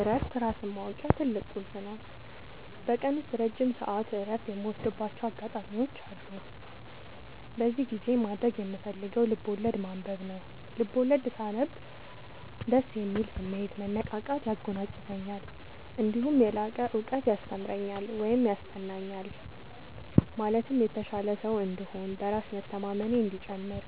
እረፍት ራስን ማወቂያ ትልቁ ቁልፍ ነው። በቀን ውስጥ ረጅም ሰዓት እረፍት የምወስድባቸው አጋጣዎች አሉ። በዚህ ጊዜ ማድረግ የምፈልገው ልብዐወለድ ማንበብ ነው፤ ልቦለድ ሳነብ ደስ የሚል ስሜት፣ መነቃቃት ያጎናፅፈኛል። እነዲሁም የላቀ እውቀት ያስተምረኛል ወይም ይሰጠኛል ማለትም የተሻለ ሰው እንድሆን፣ በራስ መተማመኔ እንዲጨምር፣